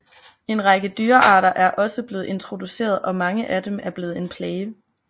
En række dyrearter er også blevet introduceret og mange af dem er blevet en plage